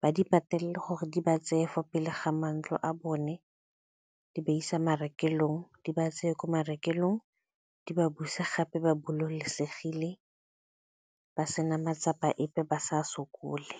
ba di patelele gore di ba tseye fa pele ga matlo a bone, di ba isa marekelong di ba tseye ko marekelong di ba buse gape ba bolokesegile ba sena matsapa epe ba sa sokole.